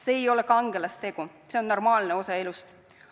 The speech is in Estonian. See ei ole kangelastegu, see on normaalne osa elust.